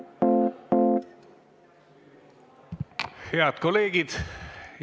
Head kolleegid!